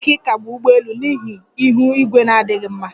Enwere ike ịkagbu ụgbọ elu n'ihi ihu igwe na-adịghị mma